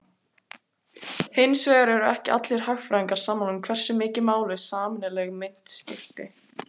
Hins vegar eru ekki allir hagfræðingar sammála um hversu miklu máli sameiginleg mynt skipti.